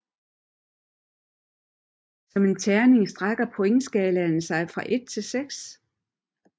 Som en terning strækker pointskalaen sig fra 1 til 6